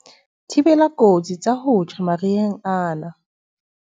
Thibela dikotsi tsa ho tjha mariheng ana